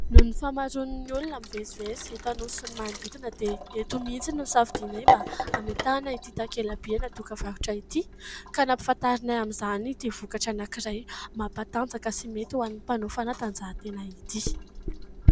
Noho ny fahamaroan'ny olona mivezivezy eto anosy sy ny manodidina dia eto mihitsy no nosafidianay mba hametahana ity takela-by anadok varotra ity ka nampahafantarinay amin'izany ity vokatra anankiray mampatanjaka sy mety ho an'ny mpanao fanatanjahantena ity.